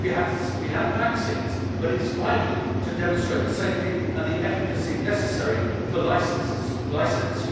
We have vaccines, but it is vital to demonstrate the safety and the efficacy necessary for licensure.